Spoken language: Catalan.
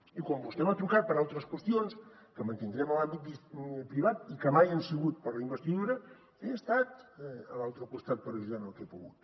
i quan vostè m’ha trucat per altres qüestions que mantindrem en l’àmbit privat i que mai han sigut per a la investidura he estat a l’altre costat per ajudar en el que he pogut